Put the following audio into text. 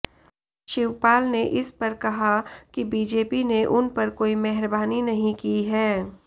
शिवपाल ने इस पर कहा कि बीजेपी ने उन पर कोई मेहरबानी नहीं की है